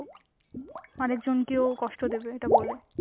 আরেকজনকে ও কষ্ট দেবে এটা বলে.